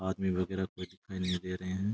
आदमी वगेरह कोई दिखाई नहीं दे रहे हैं।